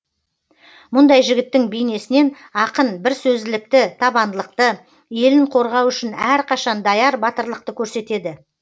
мұндай жігіттің бейнесінен ақын бірсөзділікті табандылықты елін қорғау үшін әрқашан даяр батырлықты көрсетеді